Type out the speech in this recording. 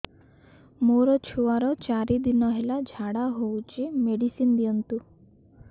ମୋର ଛୁଆର ଚାରି ଦିନ ହେଲା ଝାଡା ହଉଚି ମେଡିସିନ ଦିଅନ୍ତୁ